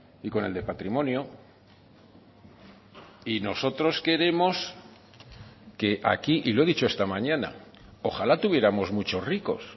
y con el de patrimonio y nosotros queremos que aquí y lo he dicho esta mañana ojalá tuviéramos muchos ricos